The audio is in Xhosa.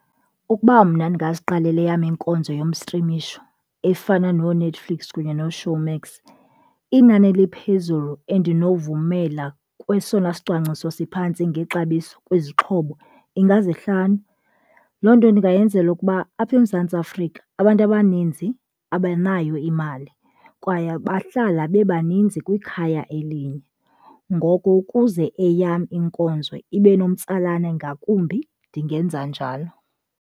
Ukuba mna ndingaziqalela eyam iinkonzo yostrimisho efana nooNetflix kunye nooShowmax, inani eliphezulu andinovumela kwesona sicwangciso siphantsi ngexabiso kwizixhobo ingaizihlanu. Loo nto ndingayenzela ukuba apha eMzantsi Afrika abantu abaninzi abanayo imali kwaye bahlala bebaninzi kwikhaya elinye, ngoko ukuze eyam iinkonzo ibe nomtsalane ngakumbi ndingenza njalo.